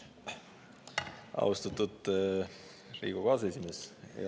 Austatud Riigikogu aseesimees!